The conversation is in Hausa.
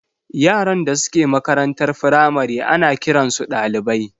yaran da suke makarantar firamare ana kiransu ɗalibai.